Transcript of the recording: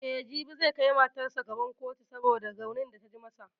E, jibi zai kai matan sa gaba kotu saboda raunin da ta ji masa.